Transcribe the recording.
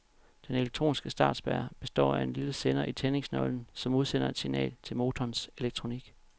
Den elektroniske startspærre består af en lille sender i tændingsnøglen, som udsender et signal til motorens elektronik.